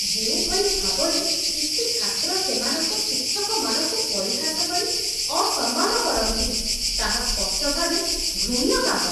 ଯେଉଁଭଳି ଭାବରେ କିଛି ଛାତ୍ର ସେମାନଙ୍କ ଶିକ୍ଷକମାନଙ୍କୁ ପରିହାସ କରି ଅସମ୍ମାନ କରନ୍ତି, ତାହା ସ୍ପଷ୍ଟ ଭାବେ ଘୃଣ୍ୟ କାମ।